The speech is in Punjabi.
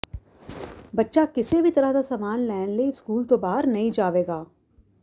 ਬੱਚਾ ਕਿਸੇ ਵੀ ਤਰ੍ਹਾਂ ਦਾ ਸਾਮਾਨ ਲੈਣ ਲਈ ਸਕੂਲ ਤੋਂ ਬਾਹਰ ਨਹੀਂ ਜਾਵੇਗਾ